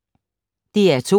DR2